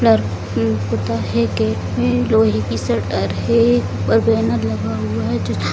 gate में लोहे की शटर है ऊपर बैनर लगा हुआ है जिसमें --